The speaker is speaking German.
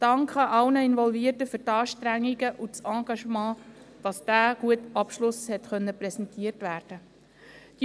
Ein Dank geht an alle Involvierten für die Anstrengungen und das Engagement, wodurch dieser gute Abschluss präsentiert werden konnte.